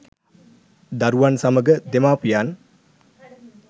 දරුවන් සමග දෙමාපියන්